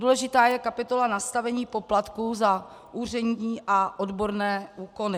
Důležitá je kapitola nastavení poplatků za úřední a odborné úkony.